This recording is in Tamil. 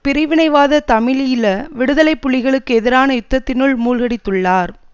பிரிவினைவாத தமிழீழ விடுதலை புலிகளுக்கு எதிரான யுத்தத்தினுள் மூழ்கடித்துள்ளார்